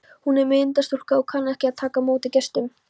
Hún er myndarstúlka og kann að taka á móti gestum.